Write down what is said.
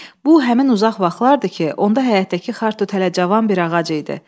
Bu həmin uzaq vaxtlardır ki, onda həyətdəki xartut hələ cavan bir ağac idi.